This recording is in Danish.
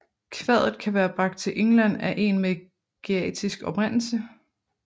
Kvadet kan være bragt til England af en med geatisk oprindelse